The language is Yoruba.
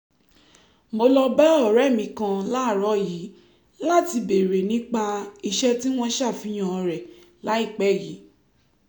mo lọ bá ọ̀rẹ́ mi kan láàárọ̀ yìí láti béèrè nípa iṣẹ́ tí wọ́n ṣàfihàn rẹ̀ láìpẹ́ yìí